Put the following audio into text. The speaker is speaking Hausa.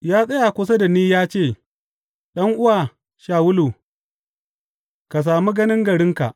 Ya tsaya kusa da ni ya ce, Ɗan’uwa Shawulu, ka sami ganin garinka!’